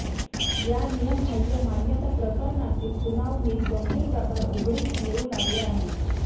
या नियमबाह्य मान्यताप्रकरणातील सुनावणीत गंभीर प्रकार उघडकीस येऊ लागले आहेत